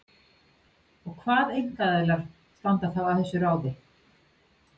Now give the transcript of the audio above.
Og hvað einkaaðilar standa þá að þessu ráði?